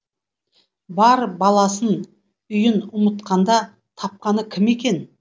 бар баласын үйін ұмытқанда тапқаны кім екен